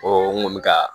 n kun bɛ ka